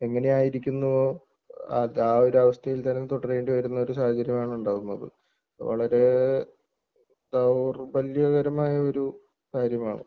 എങ്ങനെയായിരിക്കുന്നുവോ അത് ആ ഒരു അവസ്ഥയിൽ തന്നെ തുടരേണ്ടി വരുന്ന ഒരു സാഹചര്യമാണ് ഉണ്ടാവുന്നത് വളരെ ദൗർബല്യകരമായ ഒരു കാര്യമാണ്.